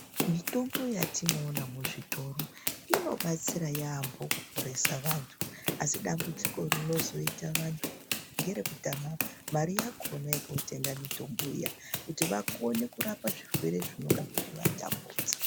Mitombo yatinoona mu zvitoro ino batsira yambo kuporesa vantu asi dambudziko rinozooita vantu ngere kutama mari yakona yeko tenga mitombo iya kuti vakone kurapa zvirwere zvinonga zvechi vatambudza.